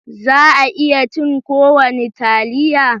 Za a iya cin kowane taliya?